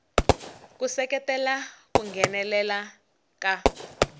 ku seketela ku nghenelela ka